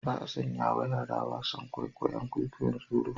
Ba a sanyawa yara wasan kwaikwayon kwikwayon tsoro